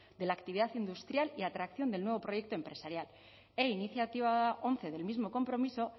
de la actividad industrial y atracción del nuevo proyecto empresarial e iniciativa once del mismo compromiso